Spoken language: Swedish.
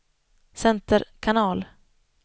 center kanal